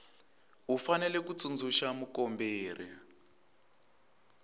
u fanele ku tsundzuxa mukomberi